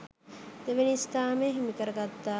දෙවැනි ස්ථානය හිමිකරගත්තා